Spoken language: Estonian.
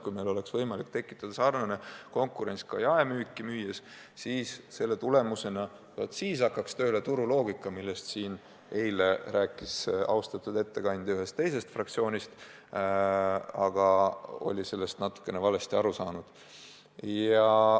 Kui meil oleks võimalik tekitada samasugune konkurents ka jaemüüjatele müües, siis hakkaks tööle turuloogika, millest siin eile rääkis austatud ettekandja ühest teisest fraktsioonist, aga oli sellest natukene valesti aru saanud.